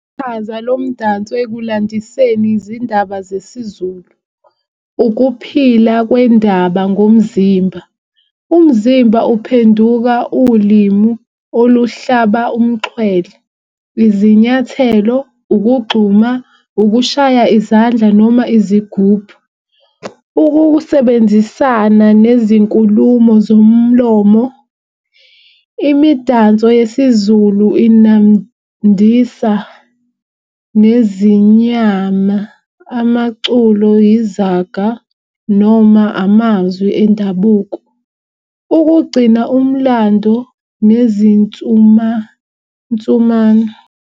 Chaza lo mdanso ekulandiseni izindaba zesiZulu. Ukuphila kwendaba ngomzimba, umzimba uphenduka ulimi oluhlaba umxhwele. Izinyathelo, ukugxuma, ukushaya izandla noma izigubhu. Ukusebenzisana nezinkulumo zomlomo, imidanso yesiZulu inandisa nezimnyama, amaculo, izaga noma amazwi endabuko ukugcina umlando nezinsumansumana.